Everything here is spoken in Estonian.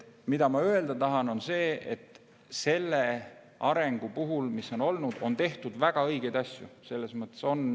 Ma tahan öelda seda, et selle arengu puhul, mis on olnud, on tehtud väga õigeid asju.